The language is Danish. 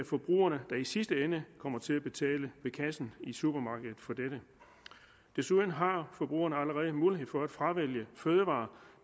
forbrugerne der i sidste ende kom til at betale for ved kassen i supermarkedet desuden har forbrugerne allerede mulighed for at fravælge fødevarer